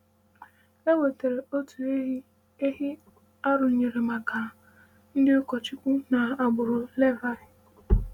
E wetaara otu ehi ehi arụnyere maka ndị ụkọchukwu na agbụrụ Levi.